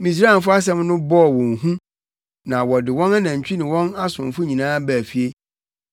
Misraimfo a asɛm no bɔɔ wɔn hu no de wɔn anantwi ne wɔn asomfo nyinaa baa fie.